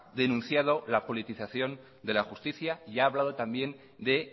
denunciado la politización de la justicia y ha hablado también de